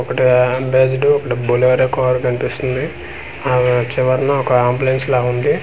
ఒకటి అమ్బసిడ్ ఒకటి Bolero car కనిపిస్తుంది ఆ చివరన ఒక అంబులన్స్ లాగ ఉంది.